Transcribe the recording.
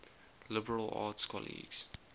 liberal arts colleges